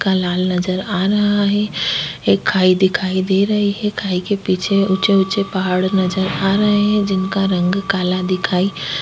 लाल नजर आ रहा है दिखाई दे रही है खाई के पीछे ऊंचे ऊंचे पहाड़ नजर आ रहे हैं जिनका रंग काला दिखाई --